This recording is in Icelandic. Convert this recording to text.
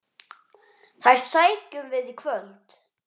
Þær sækjum við í kvöld.